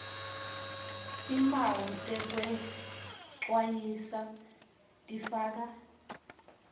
timphawu tekwecwayisa tifaka